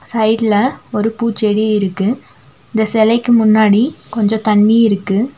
சைடுல ஒரு பூச்செடி இருக்கு இந்த செலைக்கு முன்னாடி கொஞ்சோ தண்ணி இருக்கு.